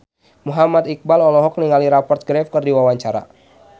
Muhammad Iqbal olohok ningali Rupert Graves keur diwawancara